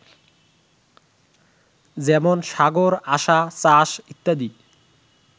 যেমন সাগর, আসা, চাষ, ইত্যাদি